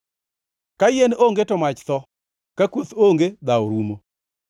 Ka yien onge to mach tho; ka kuoth onge dhawo rumo.